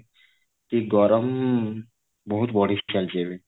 କି ଗରମ ବହୁତ ବଢି ଚାଲିଛି ଏବେ